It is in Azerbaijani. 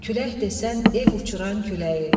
Külək desən ev uçuran küləyi.